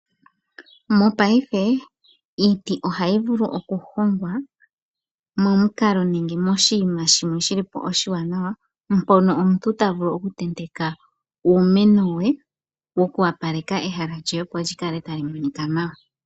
Mopaife iiti oha yi vulu oku hongwa momukalo nenge moshinima shimwe shi li po oshiwanawa mpono omuntu ta vulu oku tenteka uumeno we moku opaleka opo ehala lye likale ta li monika nawa.